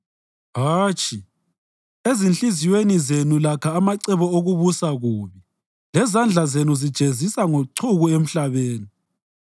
Hatshi, ezinhliziyweni zenu lakha amacebo okubusa kubi, lezandla zenu zijezisa ngochuku emhlabeni.